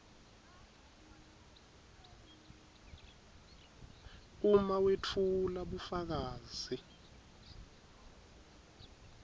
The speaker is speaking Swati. uma wetfula bufakazi